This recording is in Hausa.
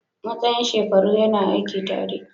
Matsayin shekaru yana aiki tare.